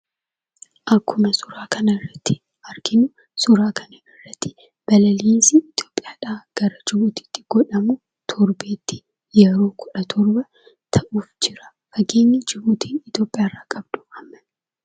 Akkuma suuraa kanarratti arginu, suuraa kanarratti balalihiinsi Itiyoophiyaadhaa gara Jibuutiitti godhamu torbeetti yeroo kudha torba ta'uuf jira. Fageenyi Jibuutiin Itiyoophiyaa irra qabdu ammami?